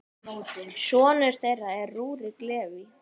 Sonur þeirra er Rúrik Leví.